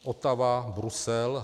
Ottawa, Brusel.